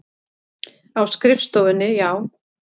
Á skrifstofunni, já.